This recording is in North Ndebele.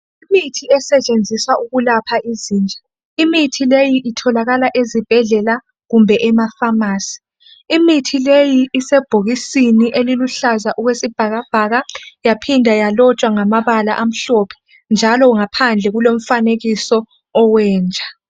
Imithi esetshenziswa ukulapha izinja. Imithi leyi itholakala ezibhedlela kumbe emafamasi. Imithi leyi isebhokisini eliluhlaza okwesibhakabhaka yaphinda yalotshwa ngamabala amhlophe njalo ngaphandle kulomfanekiso owenja.